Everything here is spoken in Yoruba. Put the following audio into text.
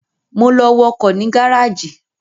Mo lọ wọkọ̀ ní gáràjì